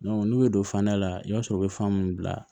n'u ye don fana la i b'a sɔrɔ u bɛ fan mun bila